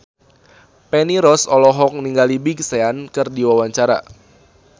Feni Rose olohok ningali Big Sean keur diwawancara